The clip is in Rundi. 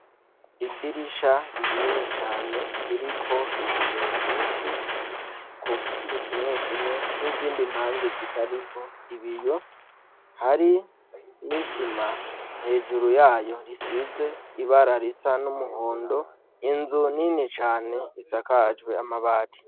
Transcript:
Idirisha rinini cane ririko ibiyo vyinshi, ku mpande zimwe zimwe n'izindi mpande zitariko ibiyo, hari n'isima hejuru yayo risize ibara risa n'umuhondo, inzu nini cane isakajwe amabati.